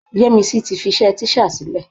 Yẹ́misí ti fiṣẹ́ tíṣà sílẹ̀.